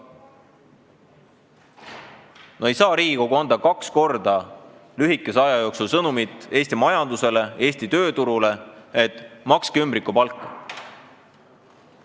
No ei saa Riigikogu anda kaks korda lühikese aja jooksul Eesti majandusele ja tööturule sõnumit, et makske ümbrikupalka!